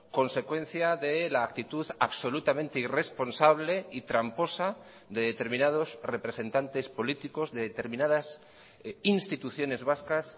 consecuencia de la actitud absolutamente irresponsable y tramposa de determinados representantes políticos de determinadas instituciones vascas